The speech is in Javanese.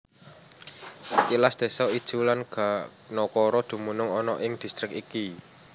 Tilas désa Ijuw lan Ganokoro dumunung ana ing distrik iki